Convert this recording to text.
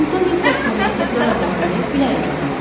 Antonio Forscarelli qarabuğdayı, güləruz adam idi.